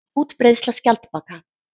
Útbreiðsla skjaldbaka.